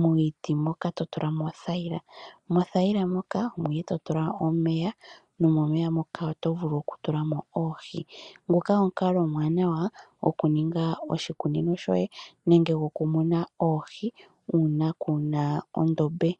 miiti mbyoka to tula mo othayila, mothayila moka omo nduno to tula omeya nomomeya moka omo nduno to tula oohi. Nguka omukalo omuwanawa gokuninga oshikunino shoye nenge okumuna oohi uuna kuu na ondombe.